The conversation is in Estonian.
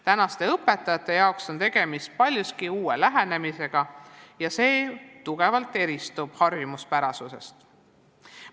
Tänaste õpetajate jaoks on tegemist paljuski uue lähenemisega ja see eristub harjumuspärasest tugevalt.